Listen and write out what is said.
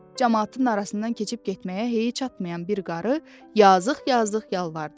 Camaatın arasından keçib getməyə hey çatmayaən bir qarı yazıq-yazıq yalvardı.